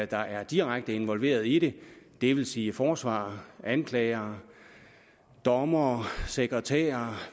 der er direkte involveret i det det vil sige forsvarere anklagere dommere sekretærer